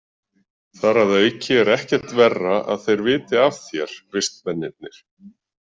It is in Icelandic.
Þar að auki er ekkert verra að þeir viti af þér, vistmennirnir.